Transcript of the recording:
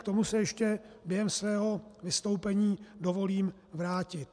K tomu si ještě během svého vystoupení dovolím vrátit.